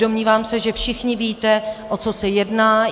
Domnívám se, že všichni víte, o co se jedná.